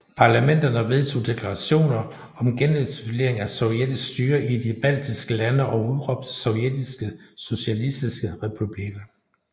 Parlamenterne vedtog deklarationer om genetablering af sovjetisk styre i de baltiske lande og udråbte Sovjetiske Socialistiske Republikker